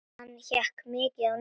Hann hékk mikið á netinu.